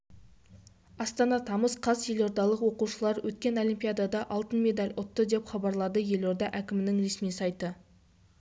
астана тамыз қаз елордалық оқушылар өткен олимпиадада алтын медаль ұтты деп хабарлады елорда әкімінің ресми сайты